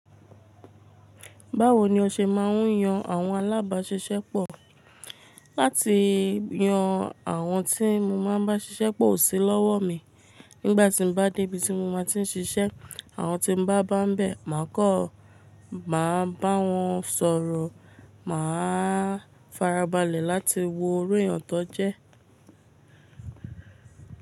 Báwo ni o ṣe máa ń yan àwọn alábáṣiṣẹ́ pọ̀? Láti yan àwọn tí mo máa ń bá ṣiṣẹ́ pọ̀ o sí lọ́wọ́ mi, nígbà tí mo bá dé ibi tí mo máa ti ń ṣiṣẹ́, àwọn tí mo bá bá ń bẹ, màá kọ́, màá bá wọn sọ̀rọ̀, màá farabalẹ̀ láti wo irú èèyàn tí wọ́n jẹ́.